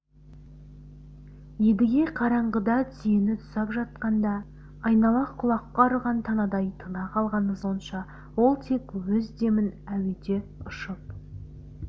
едіге қараңғыда түйені тұсап жатқанда айнала құлаққа ұрған танадай тына қалғаны сонша ол тек өз демін әуеде ұшып